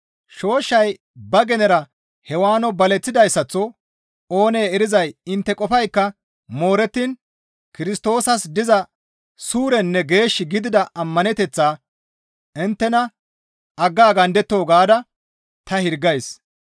Shooshshay ba genera Hewaano baleththidayssaththo oonee erizay intte qofaykka moorettiin Kirstoosas diza suurenne geesh gidida ammaneteththaa inttena aggaagandettoo gaada ta hirgays.